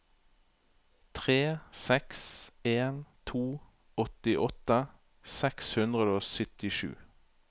tre seks en to åttiåtte seks hundre og syttisju